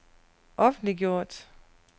offentliggjort